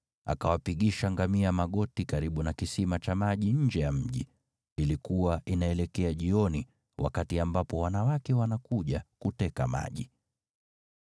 Akawapigisha ngamia magoti karibu na kisima cha maji nje ya mji, ilikuwa inaelekea jioni, wakati ambapo wanawake wanakuja kuteka maji.